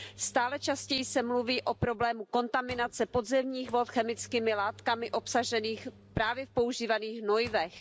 Stále častěji se mluví o problému kontaminace podzemních vod chemickými látkami obsaženými právě v používaných hnojivech.